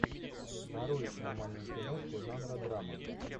нарой нормальную киношку жанра драма